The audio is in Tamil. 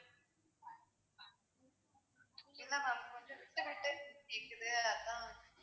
இல்ல ma'am கொஞ்சம் விட்டுவிட்டு கேக்குது, அதான்